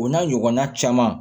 O n'a ɲɔgɔnna caman